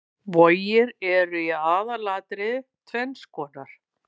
Vogir eru í aðalatriðum tvenns konar.